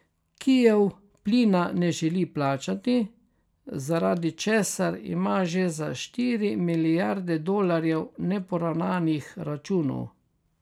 Kijev plina ne želi plačati, zaradi česar ima že za štiri milijarde dolarjev neporavnanih računov.